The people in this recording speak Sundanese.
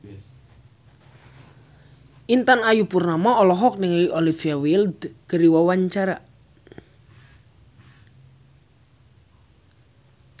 Intan Ayu Purnama olohok ningali Olivia Wilde keur diwawancara